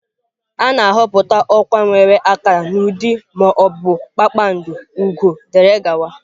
A na-ahọpụta ọkwa nwere akara n'ụdị ma ọ bụ kpakpando, ugo wdg.